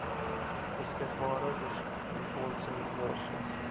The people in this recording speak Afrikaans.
beskikbare befondsing versus